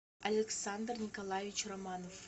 александр николаевич романов